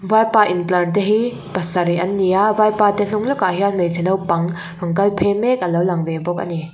vaipa intlar te hi pasarih an ni a vaipa te hnung lawkah hian hmeichhe naupang rawn kal phei mek a lo lang ve bawk a ni.